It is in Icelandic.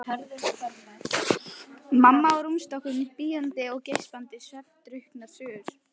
Mamma á rúmstokknum bíandi og geispandi svefndrukknar sögur.